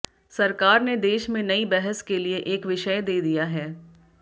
सरकार ने देश में नई बहस के लिए एक विषय दे दिया है